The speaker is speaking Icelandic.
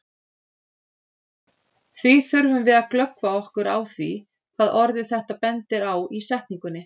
Því þurfum við að glöggva okkur á því hvað orðið þetta bendir á í setningunni.